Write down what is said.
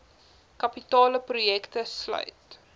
kapitale projekte sluit